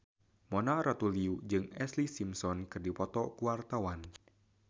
Mona Ratuliu jeung Ashlee Simpson keur dipoto ku wartawan